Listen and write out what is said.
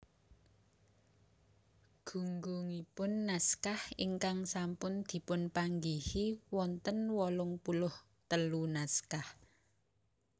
Gunggungipun naskah ingkang sampun dipunpanggihi wonten wolung puluh telu naskah